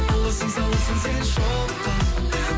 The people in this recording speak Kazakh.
аласың саласың сен шоққа